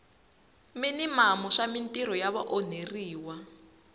minimamu swa mintirho ya vaonheriwa